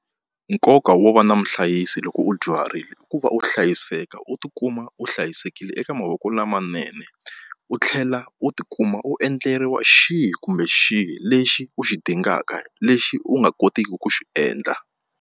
Nkoka wo va na muhlayisi loko u dyuharile i ku va u hlayiseka u tikuma u hlayisekile eka mavoko lamanene u tlhela u tikuma u endleriwa xihi kumbe xihi lexi u xi dingaka lexi u nga kotiki ku xi endla.